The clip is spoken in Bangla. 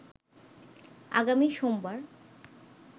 আগামী সোমবার